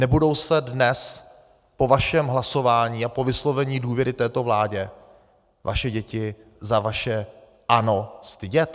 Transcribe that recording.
Nebudou se dnes po vašem hlasování a po vyslovení důvěry této vládě vaše děti za vaše ano stydět?